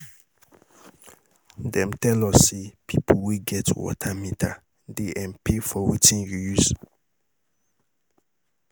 Dem tell us say pipo wey get water meter dey um pay for wetin you use.